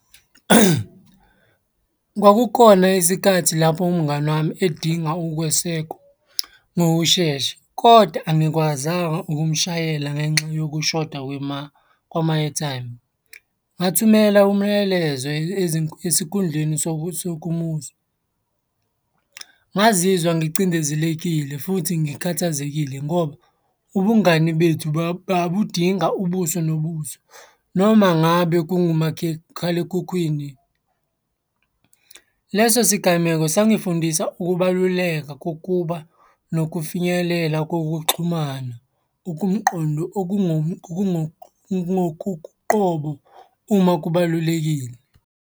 Kwakukhona isikhathi lapho umngani wami edinga ukwesekwa ngokushesha, koda angikwazanga ukumushayela ngenxa yokushoda kwama-airtime. Ngathumela umyalezo esikhundleni sokumuzwa. Ngazizwa ngicindezelekile futhi ngikhathazekile ngoba ubungani bethu babudinga ubuso nobuso, noma ngabe khalekhukhwini. Leso sigameko sangifundisa ukubaluleka kokuba nokufinyelela kokuxhumana okumqondo uma kubalulekile.